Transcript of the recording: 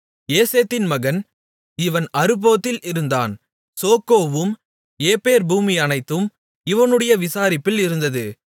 ஏசேதின் மகன் இவன் அறுபோத்தில் இருந்தான் சோக்கோவும் எப்பேர் பூமியனைத்தும் இவனுடைய விசாரிப்பில் இருந்தது